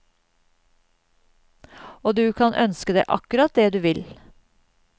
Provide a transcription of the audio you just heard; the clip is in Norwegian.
Og du kan ønske deg akkurat det du vil.